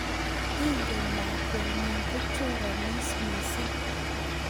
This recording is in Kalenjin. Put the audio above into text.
Ingen lakwenyu kochoranis mising